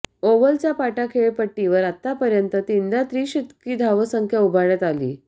ओव्हलच्या पाटा खेळपट्टीवर आतापर्यंत तीनदा त्रिशतकी धावसंख्या उभारण्यात आली आली